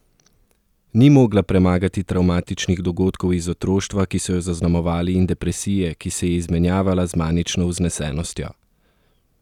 Ni mogla premagati travmatičnih dogodkov iz otroštva, ki so jo zaznamovali, in depresije, ki se je izmenjevala z manično vznesenostjo?